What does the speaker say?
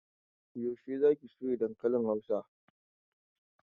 Yaushe za ki soya dankalin Hausan?